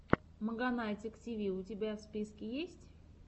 маганатик тиви у тебя в списке есть